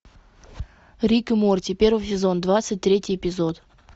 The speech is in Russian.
рик и морти первый сезон двадцать третий эпизод